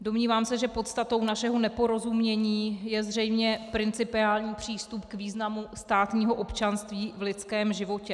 Domnívám se, že podstatou našeho neporozumění je zřejmě principiální přístup k významu státního občanství v lidském životě.